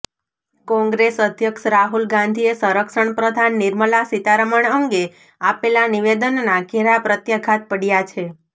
કોંગ્રેસ અધ્યક્ષ રાહુલ ગાંધીએ સંરક્ષણપ્રધાન નિર્મલા સીતારમણ અંગે આપેલા નિવેદનના ઘેરા પ્રત્યાઘાત પડ્યા છે